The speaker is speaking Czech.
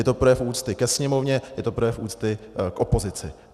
Je to projev úcty ke Sněmovně, je to projev úcty k opozici.